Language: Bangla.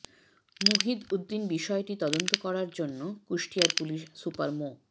মুহিদ উদ্দিন বিষয়টি তদন্ত করার জন্য কুষ্টিয়ার পুলিশ সুপার মো